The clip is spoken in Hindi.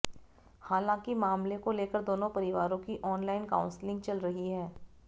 हालांकि मामले को लेकर दोनों परिवारों की ऑनलाइन काउंसलिंग चल रही है